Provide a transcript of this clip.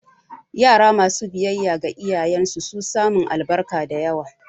Yara masu biyayya ga iyayen su su samun albarka da yawa